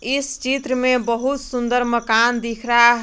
इस चित्र में बहुत सुंदर मकान दिख रहा--